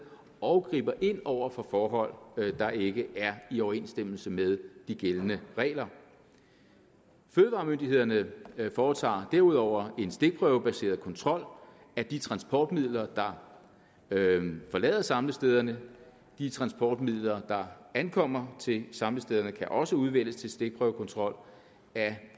og griber ind over for forhold der ikke er i overensstemmelse med de gældende regler fødevaremyndighederne foretager derudover en stikprøvebaseret kontrol af de transportmidler der forlader samlestederne og de transportmidler der ankommer til samlestederne kan også udvælges til stikprøvekontrol af